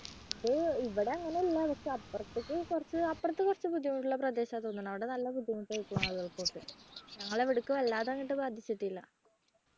ഇത് ഇവിടെ അങ്ങനെയല്ല പക്ഷേ അപ്പുറത്തേക്ക് അപ്പുറത്തേക്ക് കുറച്ച് ബുദ്ധിമുട്ടുള്ള പ്രദേശമാണെന്ന് തോന്നുന്നു അവിടെ നല്ല ബുദ്ധിമുട്ടായിട്ട് ആണ് അവർക്കൊക്കെ ഞങ്ങടെ ഇവിടേക്ക് വല്ലാതെ അങ്ങോട്ട് ബാധിച്ചിട്ടില്ല.